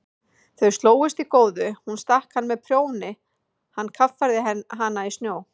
Þau slógust í góðu, hún stakk hann með prjóni, hann kaffærði hana í snjó.